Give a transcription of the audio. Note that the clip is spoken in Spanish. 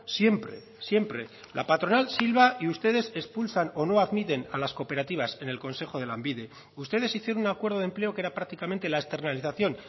siempre siempre la patronal silva y ustedes expulsan o no admiten a las cooperativas en el consejo de lanbide ustedes hicieron un acuerdo de empleo que era prácticamente la externalización